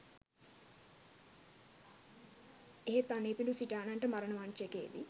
එහෙත් අනේපිඬු සිටානන්ට මරණ මංචකයේදී